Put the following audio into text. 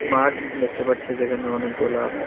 মাঠ দেখতে পারছি যেখানে অনেকগুলা--